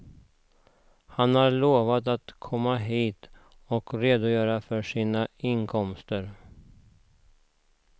Han har lovat att komma hit och redogöra för sina inkomster.